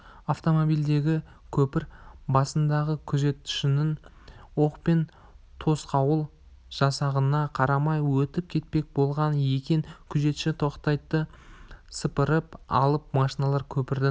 автомобильдегілер көпір басындағы күзетшінің оқпен тосқауыл жасағанына қарамай өтіп кетпек болған екен күзетші тақтайды сыпырып алып машиналар көпірдің